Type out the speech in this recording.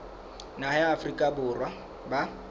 naha ya afrika borwa ba